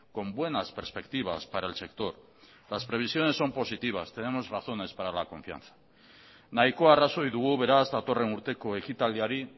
con buenas perspectivas para el sector las previsiones son positivas tenemos razones para la confianza nahiko arrazoi dugu beraz datorren urteko ekitaldiari